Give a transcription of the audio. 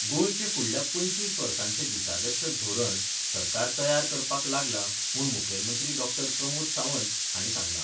गोंयचें फुडल्या पंचवीस वर्सांचे दिशादर्शक धोरण सरकार तयार करपाक लागला म्हूण मुखेलमंत्री डॉक्टर प्रमोद सावंत हाणीं सांगलां.